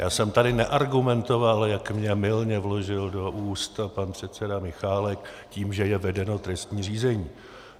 Já jsem tady neargumentoval, jak mně mylně vložil do úst pan předseda Michálek, tím, že je vedeno trestní řízení.